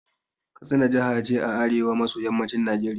Katsina jaha ce a arewa maso yammacin Najeriya